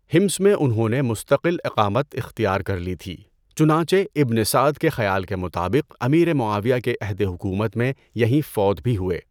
حِمْص میں انہوں نے مستقل اقامت اختیار کر لی تھی، چنانچہ ابن سعد کے خیال کے مطابق امیر معاویہ کے عہد حکومت میں یہیں فوت بھی ہوئے۔